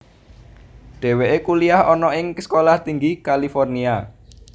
Dheweke kuliyah ana ing Sekolah Tinggi California